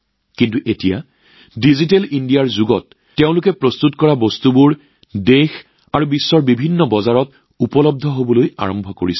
কিন্তু এতিয়া ডিজিটেল ইণ্ডিয়াৰ এই যুগত তেওঁলোকৰ দ্বাৰা নিৰ্মিত সামগ্ৰীয়ে দেশৰ লগতে বিশ্বৰ বিভিন্ন বজাৰত প্ৰৱেশ কৰিবলৈ আৰম্ভ কৰিছে